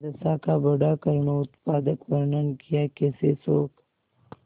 दशा का बड़ा करूणोत्पादक वर्णन कियाकैसे शोक